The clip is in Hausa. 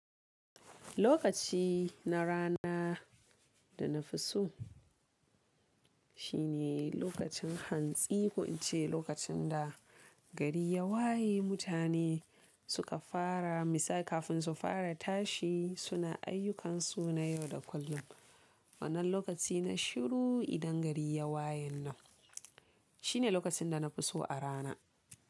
Lokaci na rana da na fi so shine lokacin hantsi ko in ce lokacin da gari ya waye mutane suka fara misali kafin su fara tashi suna ayyukansu na yau da kullum. Wannan lokaci na shiru idan gari ya waye nan shine lokacin da na fi so a rana.